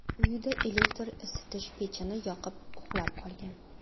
uyida elektr isitish pechini yoqib, uxlab qolgan.